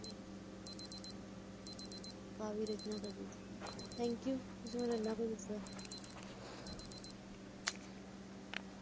ਕਾਵਿ ਰਚਨਾ ਕਰਦੇ ਸੀ thank you ਤੁਸੀ ਮੈਨੂੰ ਇਹਨਾ ਕੁਛ ਦੱਸਿਆ